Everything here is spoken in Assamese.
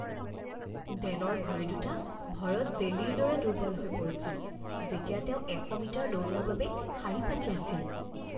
ডেনৰ ভৰি দুটা ভয়ত জেলিৰ দৰে দুৰ্বল হৈ পৰিছিল যেতিয়া তেওঁ এশ মিটাৰ দৌৰৰ বাবে শাৰী পাতি আছিল